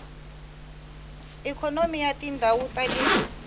ikhonomi ya tindhawu ta le